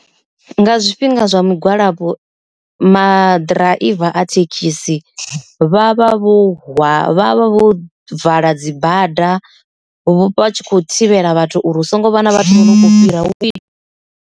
Nga zwifhinga zwa migwalabo, maḓiraiva a thekhisi vha vha vho hwa vha vha vho vala dzi bada vha tshi kho thivhela vhathu uri hu songo vhana vha vho fhira .